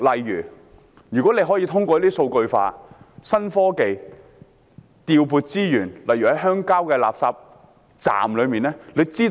如果可以通過數據化、新科技來調撥資源，效果可能會更好。